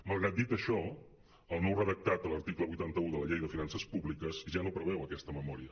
malgrat dir això el nou redactat de l’article vuitanta un de la llei de finances pú·bliques ja no preveu aquesta memòria